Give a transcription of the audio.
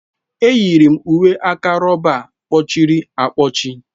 Enyiri m uwe aka rọba a kpọchiri akpọchi.